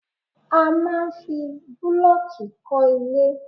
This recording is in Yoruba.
A máa ń fi bulooki kọ́ ilẹ̀